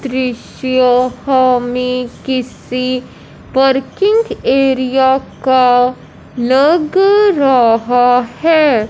दृश्य हमें किसी पार्किंग एरिया का लग रहा है।